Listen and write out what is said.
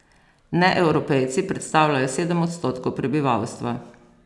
Neevropejci predstavljajo sedem odstotkov prebivalstva.